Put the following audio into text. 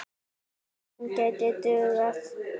Hún gæti dugað.